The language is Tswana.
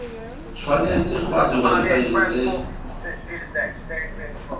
tshwanetse ga dirwa difaele tse